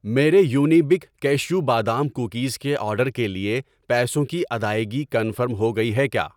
میرے Unibic cashew بادام cookies کے آرڈر کے لیے پیسوں کی ادائگی کنفرم ہو گئی کیا؟